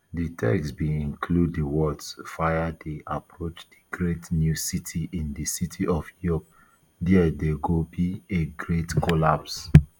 di text bin include di words fire dey approach di great new city in di city of york dia go be a great collapse